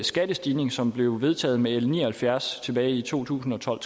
skattestigning som blev vedtaget med l ni og halvfjerds tilbage i to tusind og tolv